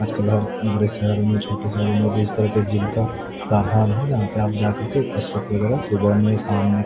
आज कल हर बड़े शहर में छोटे शहर में भी इस तरह के जिम का प्रावधान है जहां पे आप जाकर के कसरत वगैरा सुबह में साम में --